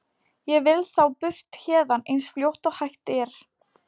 Ég vil þá burt héðan eins fljótt og hægt er.